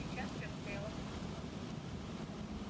сейчас всё обстояло по-другому